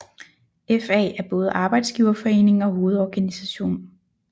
FA er både arbejdsgiverforening og hovedorganisation